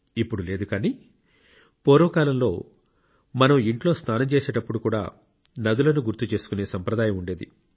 ఇప్పుడు లేదు కానీ పూర్వకాలంలో మనం ఇంట్లో స్నానం చేసేటప్పుడు కూడా నదులను గుర్తు చేసుకునే సంప్రదాయం ఉండేది